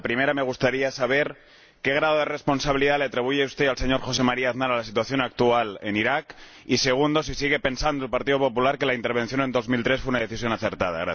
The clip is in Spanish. La primera, me gustaría saber qué grado de responsabilidad le atribuye usted al señor José María Aznar con respecto a la situación actual en Irak Y, la segunda, ¿sigue pensando el Partido Popular que la intervención en 2003 fue una decisión acertada?